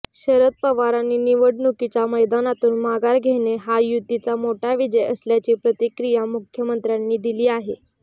शरद पवारांनी निवडणुकीच्या मैदानातून माघार घेणे हा युतीचा मोठा विजय असल्याची प्रतिक्रिया मुख्यमंत्र्यांनी दिली आहे